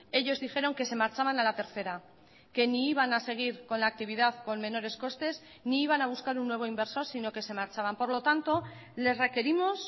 ellos dijeron que se marchaban a la tercera que ni iban a seguir con la actividad con menores costes ni iban a buscar un nuevo inversor sino que se marchaban por lo tanto les requerimos